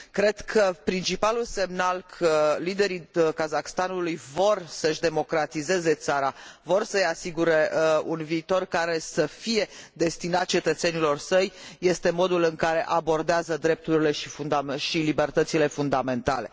Cred că principalul semnal că liderii Kazahstanului vor să și democratizeze țara, vor să i asigure un viitor care să fie destinat cetățenilor săi, este modul în care abordează drepturile și libertățile fundamentale.